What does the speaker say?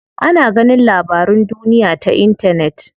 Ana ganin labarun duniya ta intanet.